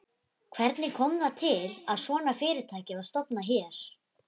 Hvernig kom það til að svona fyrirtæki var stofnað hér?